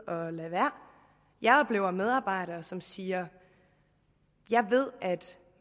at lade være jeg oplever medarbejdere som siger jeg ved at